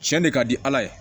Cɛn de ka di ala ye